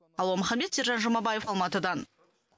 алуа маханбет сержан жұмабаев алматыдан